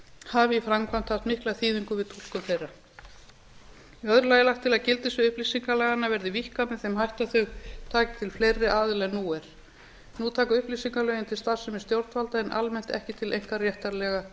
hafi í framkvæmd haft mikla þýðingu við túlkun þeirra í öðru lagi er lagt til að gildissvið upplýsingalaganna verði víkkað með þeim hætti að þau taki til fleiri aðila en nú er nú taka upplýsingalögin til starfsemi stjórnvalda en almennt ekki til einkaréttarlegra